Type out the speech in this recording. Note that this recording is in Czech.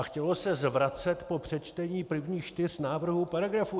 A chtělo se zvracet po přečtení prvních čtyř návrhů paragrafů.